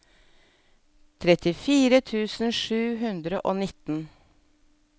trettifire tusen sju hundre og nitten